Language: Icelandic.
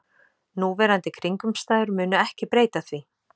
Núverandi kringumstæður munu ekki breyta því